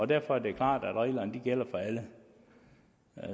derfor er det klart at reglerne gælder for alle